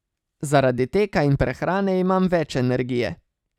Zaradi teka in prehrane imam več energije.